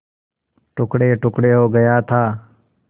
टुकड़ेटुकड़े हो गया था